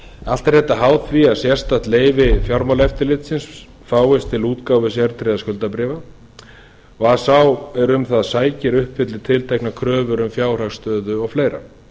allt er þetta háð því að sérstakt leyfi fjármálaeftirlitsins fáist til útgáfu sértryggðra skuldabréfa og að sá er um það sækir uppfylli tilteknar kröfur um fjárhagsstöðu og fleira